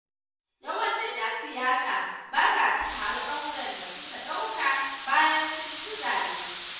Yawancin ƴan siyasa ba sa cika alƙawuran da suka ɗauka bayan sun ci zaɓe.